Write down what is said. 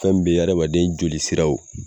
Fɛn min be adamaden jolisiraw